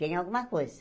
Tem alguma coisa.